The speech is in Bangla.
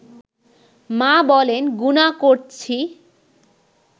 মা বলেন গুনাহ করছি